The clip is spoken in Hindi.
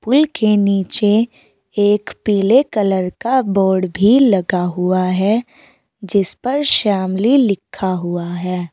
पुल के नीचे एक पीले कलर का बोर्ड भी लगा हुआ है जिस पर शामली लिखा हुआ है।